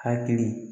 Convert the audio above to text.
Hakili